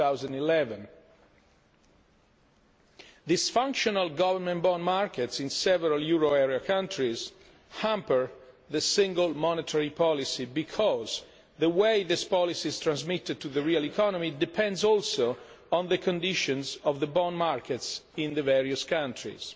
2011. Dysfunctional government bond markets in several euro area countries hamper the single monetary policy because the way this policy is transmitted to the real economy depends also on the conditions of the bond markets in the various countries.